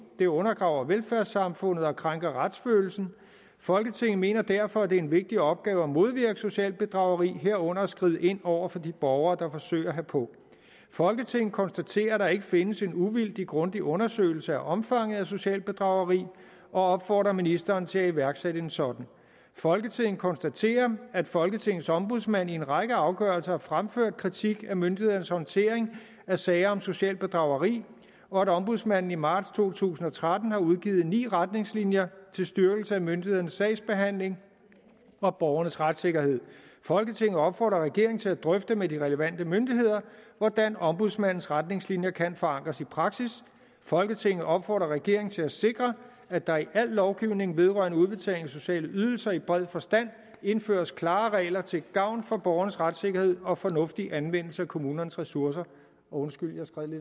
det undergraver velfærdssamfundet og krænker retsfølelsen folketinget mener derfor at det er en vigtig opgave at modvirke socialt bedrageri herunder at skride ind over for de borgere der forsøger herpå folketinget konstaterer at der ikke findes en uvildig grundig undersøgelse af omfanget af socialt bedrageri og opfordrer ministeren til at iværksætte en sådan folketinget konstaterer at folketingets ombudsmand i en række afgørelser har fremført kritik af myndighedernes håndtering af sager om socialt bedrageri og at ombudsmanden i marts to tusind og tretten har udgivet ni retningslinjer til styrkelse af myndighedernes sagsbehandling og borgernes retssikkerhed folketinget opfordrer regeringen til at drøfte med de relevante myndigheder hvordan ombudsmandens retningslinjer kan forankres i praksis folketinget opfordrer regeringen til at sikre at der i al lovgivning vedrørende udbetaling af sociale ydelser i bred forstand indføres klare regler til gavn for borgernes retssikkerhed og fornuftig anvendelse af kommunernes ressourcer undskyld